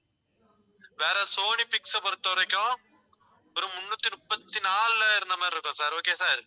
வேற Sony Pix பொறுத்தவரைக்கும் ஒரு முன்னூத்தி முப்பத்தி நாலுல இருந்த மாதிரி இருக்கும் sir okay sir